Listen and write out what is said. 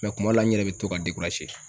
kuma dɔw la n yɛrɛ bɛ to ka